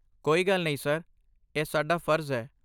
ਕੋਈ ਗੱਲ ਨਹੀਂ ਡਰ, ਇਹ ਸਾਡਾ ਫਰਜ਼ ਹੈ।